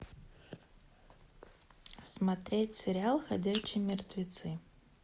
смотреть сериал ходячие мертвецы